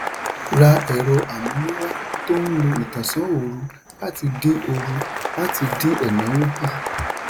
ra ẹ̀rọ amúnáwá tó ń lo ìtànsá òòrù láti dín òòrù láti dín ẹ̀náwó kù.